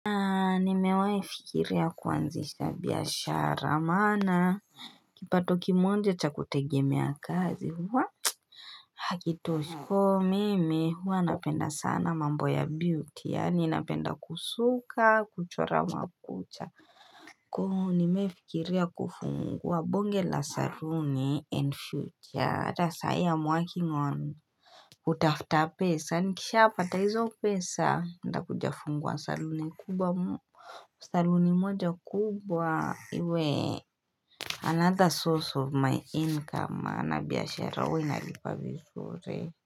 Nimewahi kufikiria kuanzisha biashara maana, kipato kimoja cha kutegemea kazi waah Hakitoshi mimi huwa napenda sana mambo ya beauty yani napenda kusuka, kuchora makucha ku nimewahi fikiria kufungua bonge la saluni and future hata sai am working on kutafuta pesa nikishapata hizo pesa nitakuja fungua saluni kubwa Saluni moja kubwa iwe Another source of my income maana biashara huwa inalipa vizuri.